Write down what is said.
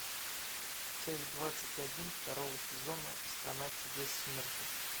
часть двадцать один второго сезона страна чудес смертников